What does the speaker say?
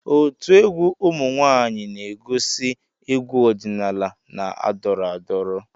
Otu egwu ụmụ nwaanyịna-egosi egwu ọdịnala na-adọrọ adọrọ.